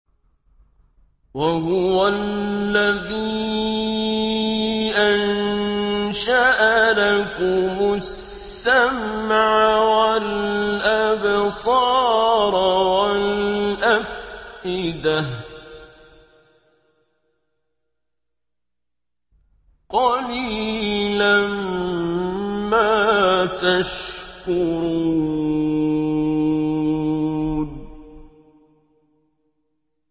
وَهُوَ الَّذِي أَنشَأَ لَكُمُ السَّمْعَ وَالْأَبْصَارَ وَالْأَفْئِدَةَ ۚ قَلِيلًا مَّا تَشْكُرُونَ